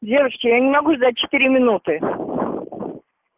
девочки я не могу ждать четыре минуты